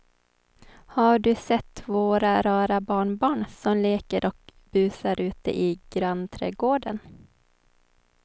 Har du sett våra rara barnbarn som leker och busar ute i grannträdgården!